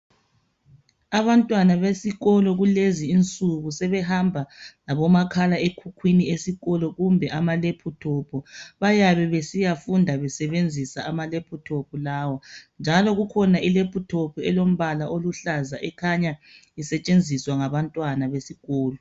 Abantwana besikolo kulezi insuku sebehamba labomakhala ekhukhwini kumbe ama laptop bayabe besiyafunda besebenzisa ama laptop lawo njalo kukhona I laptop elombala oluhlaza ekhanya isetshenziswa ngabantwana besikolo